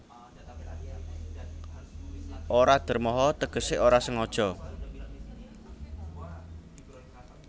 Ora dermoho tegese ora sengaja